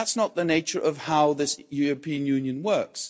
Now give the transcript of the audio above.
That's not the nature of how this European Union works.